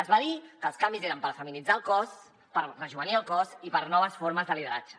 es va dir que els canvis eren per feminitzar el cos per rejovenir el cos i per a noves formes de lideratge